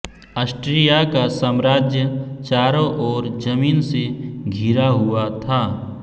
Austria का साम्राज्य चारों ओर जमीन से घिरा हुआ था